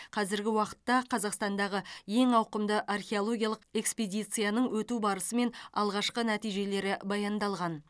қазіргі уақытта қазақстандағы ең ауқымды археологиялық экспедицияның өту барысы мен алғашқы нәтижелері баяндалған